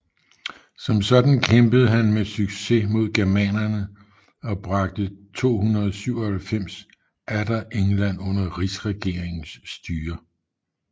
Som sådan kæmpede han med succes mod germanerne og bragte 297 atter England under rigsregeringens styre